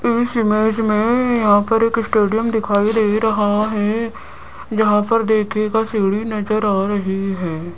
इस इमेज में यहां पर एक स्टेडियम दिखाई दे रहा है जहां पर देखिएगा सीढ़ी नजर आ रही है।